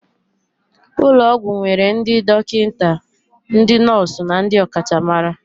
Ụlọ ọgwụ nwere ndị dọkịta, ndị nọọsụ na ndị ọkachamara